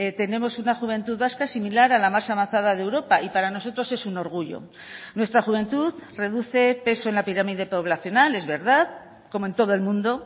tenemos una juventud vasca similar a la más avanzada de europa y para nosotros es un orgullo nuestra juventud reduce peso en la pirámide poblacional es verdad como en todo el mundo